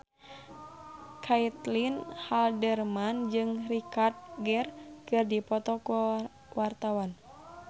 Caitlin Halderman jeung Richard Gere keur dipoto ku wartawan